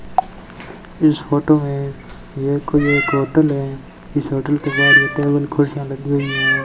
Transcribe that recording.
इस फोटो में ये कोई एक होटल है इस होटल के बाहर ये टेबल कुर्सियां लगी हुई हैं।